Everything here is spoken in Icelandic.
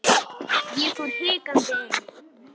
Ég fór hikandi inn.